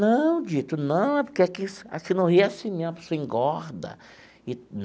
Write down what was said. Não, Dito, não, é porque aqui aqui no Rio é assim mesmo, a pessoa engorda.